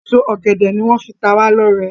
Èso ògèdè ní wón fí ta wá ló rẹ.